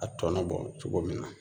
A tɔnɔ bɔ cogo min na